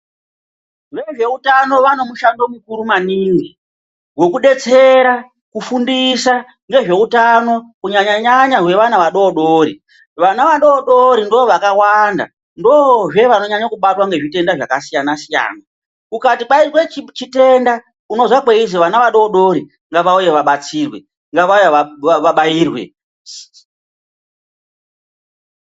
Vezveutano vanomushando mukuru maningi wokudetsera kufundisa ngezveutano kunyanya-nyanya hwevana vadoodori. Vana vadoodori ndoovakawanda, ndoozve vanonyanya kubatwa ngezvitenda zvakasiyana-siyana. Kukati kwaitwe chitenda unozwa kweizi vana vadoodori ngavauye vabatsirwe, ngavauye vabairwe.